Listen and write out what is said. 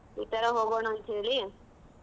ಈತರಾ ಹೋಗೋಣ ಅಂತ್ ಹೇಳಿ.